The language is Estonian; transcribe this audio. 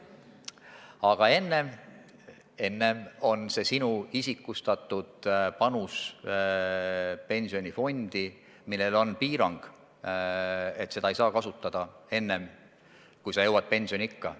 Aga enne on see sinu isikustatud panus pensionifondi, millel on piirang, et seda ei saa kasutada enne, kui sa jõuad pensioniikka.